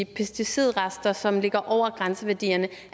pesticidrester som ligger over grænseværdierne